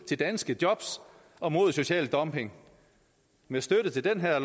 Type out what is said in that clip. til danske jobs og mod social dumping med støtte til det her